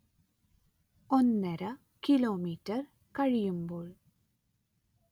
ഒന്നര കിലോമീറ്റർ കഴിയുമ്പോൾ